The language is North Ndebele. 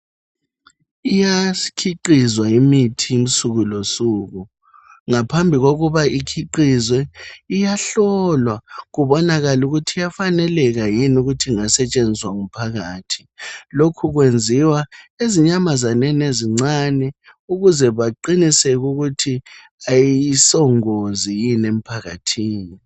Iyakhiqizwa imithi usuku losuku ngaphambi kokuba ikhiqizwe iyahlolwa kubonakale ukuthi iyafaneleka yini ukuthi ingasetshenziswa ngumphakathi lokhu kwenziwa ezinyamazaneni ezincane ukuze baqiniseke ukuthi ayisongozi yini emphakathini